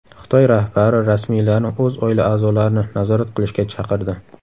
Xitoy rahbari rasmiylarni o‘z oila a’zolarini nazorat qilishga chaqirdi.